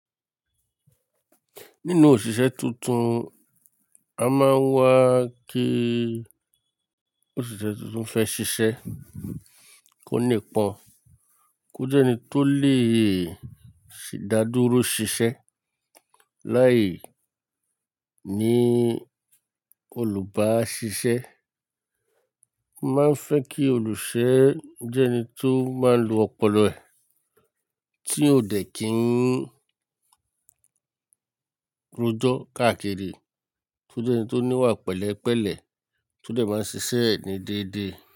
Nínú òṣìṣẹ́ tuntun, a máa ń wá kí òṣìṣẹ́ tuntun fẹ́ ṣiṣẹ́, kó nípọn, kó jẹ́ ẹni tó lè sì dá dúró ṣiṣẹ́. Láì ní olùbáṣiṣẹ́, a máa ń fẹ́ kí olùṣọ́ jẹ́ ẹni tó máa ń lo ọpọlọ ẹ̀, tí ò dẹ̀ kí ń rojọ káàkiri, tó jẹ́ ẹni tó ní wà pẹ̀lẹ́pẹ̀lẹ́, tó dẹ̀ máa ń ṣiṣẹ́ ẹ ni déédé.